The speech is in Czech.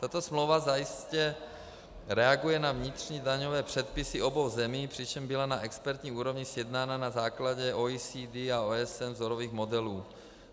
Tato smlouva zajisté reaguje na vnitřní daňové předpisy obou zemí, přičemž byla na expertní úrovni sjednána na základě OECD a OSN vzorových modelů.